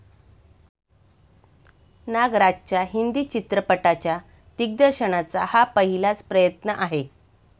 नागराजच्या हिंदी चित्रपटाच्या दिग्दर्शनाचा हा पहिलाच प्रयत्न आहे.